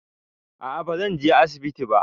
A'a bazan je asibiti ba